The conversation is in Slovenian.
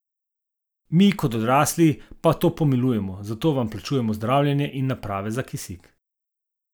Mi, kot odrasli, pa to pomilujemo, zato vam plačujemo zdravljenje in naprave za kisik.